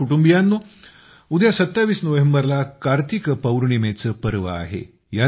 माझ्या कुटुंबियांनो उद्या २७ नोव्हेंबरला कार्तिक पूर्णिमेचं पर्व आहे